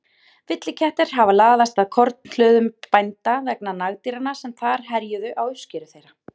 Villikettir hafa laðast að kornhlöðum bænda vegna nagdýranna sem þar herjuðu á uppskeru þeirra.